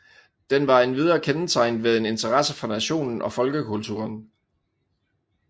Den var endvidere kendetegnet ved en interesse for nationen og folkekulturen